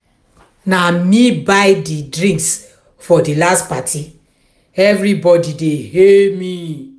na me buy di drinks for di last party everybody dey hail me.